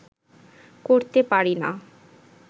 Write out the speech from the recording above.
করতে পারি না